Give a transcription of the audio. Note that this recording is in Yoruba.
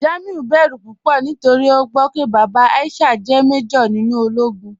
Jamiu bẹ̀rù púpọ̀ nítorí o gbọ́ pé bàbá Aisha jẹ́ màjọ̀r nínú òlógún.